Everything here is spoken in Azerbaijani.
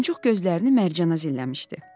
Muncuq gözlərini Mərcana zilləmişdi.